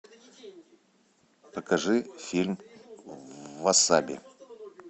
покажи фильм васаби